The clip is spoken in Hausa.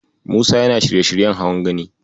Musa yana shirye-shiryen hawan Gani.